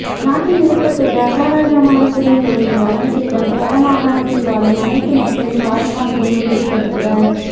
நாட்டில் ஏற்பட்டுள்ள அசாதாரணமான சூழ்நிலையினை கவனத்தில் கொண்டு வடமாகாணத்தில் வாழும் அனைத்து மக்களின் பாதுகாப்பினை உறுதிப்படுத்துவ